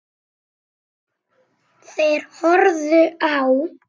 Þeir horfðu á.